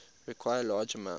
require large amounts